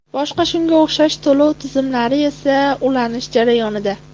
Boshqa shunga o‘xshash to‘lov tizimlari esa ulanish jarayonida.